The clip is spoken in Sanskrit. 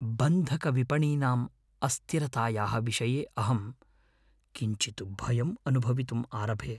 बन्धकविपणीनाम् अस्थिरतायाः विषये अहं किञ्चित् भयं अनुभवितुम् आरभे।